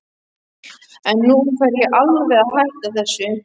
En nú fer ég alveg að hætta þessu.